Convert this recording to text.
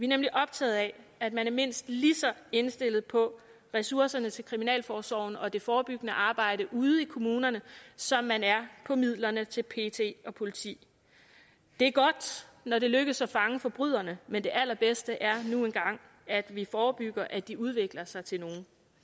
nemlig optaget af at man er mindst lige så indstillet på ressourcerne til kriminalforsorgen og det forebyggende arbejde ude i kommunerne som man er på midlerne til pet og politi det er godt når det lykkes at fange forbryderne men det allerbedste er nu engang at vi forebygger at de udvikler sig til nogle